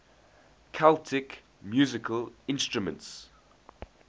celtic musical instruments